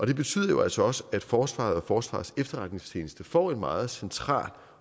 det betyder jo altså også at forsvaret og forsvarets efterretningstjeneste får en meget central